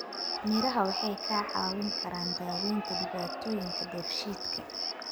Miraha waxay kaa caawin karaan daawaynta dhibaatooyinka dheefshiidka.